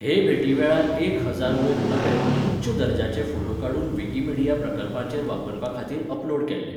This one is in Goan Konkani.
हे भेटी वेळार एक हजारा वयर नवे, उच्च दर्जाचे, फोटो काडून विकिमीडिया प्रकल्पांचेर वापरपा खातीर अपलोड केल्ले.